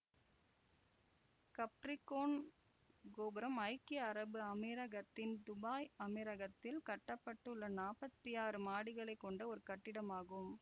Capricorn கோபுரம் ஐக்கிய அரபு அமீரகத்தின் துபாய் அமீரகத்தில் கட்ட பட்டுள்ள நாப்பத்தி ஆறு மாடிகளை கொண்ட ஒரு கட்டிடம் ஆகும்